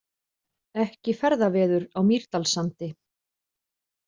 Ekki ferðaveður á Mýrdalssandi